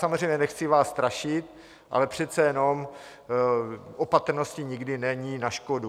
Samozřejmě, nechci vás strašit, ale přece jenom opatrnosti nikdy není na škodu.